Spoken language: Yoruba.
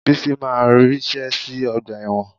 Bísí máa ríṣẹ́ sí ọgbà ẹ̀wọ̀n